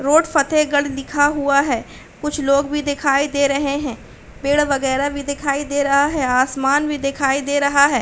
Road Fatehgarh लिखा हुआ है। कुछ लोग भी दिखाई दे रहे हैं। पेड़ वगैरा भी दिखाई दे रहा है। आसमान भी दिखाई दे रहा है।